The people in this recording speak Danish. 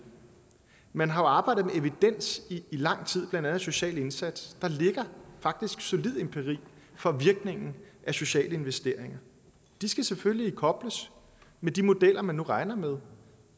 man har jo arbejdet med evidens i lang tid blandt andet af social indsats der ligger faktisk solid empiri for virkningen af sociale investeringer de skal selvfølgelig kobles med de modeller man nu regner med